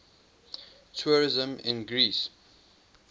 tourism in greece